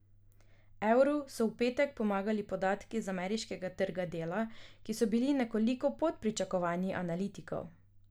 Evru so v petek pomagali podatki z ameriškega trga dela, ki so bili nekoliko pod pričakovanji analitikov.